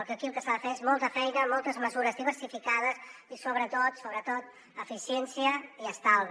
aquí el que s’ha de fer és molta feina moltes mesures diversificades i sobretot sobretot eficiència i estalvi